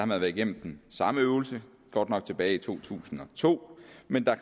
man været igennem den samme øvelse godt nok tilbage i to tusind og to men der